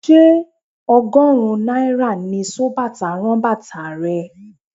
Ṣé ọgọ́rùn-ún náírà ni sobàtà ń rán bàtà rẹ?